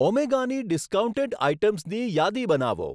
ઓમેગાની discounted આઇટમ્સની યાદી બનાવો.